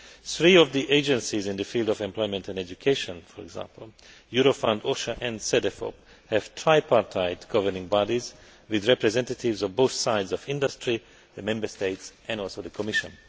Three of the agencies in the field of employment and education for example Eurofund, OSHA and Cedefop have tripartite governing bodies with representatives of both sides of industry, the Member States and also the Commission.